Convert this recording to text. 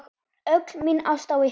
Öll mín ást á ykkur.